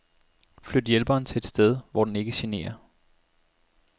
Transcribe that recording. Flyt hjælperen til et sted hvor den ikke generer.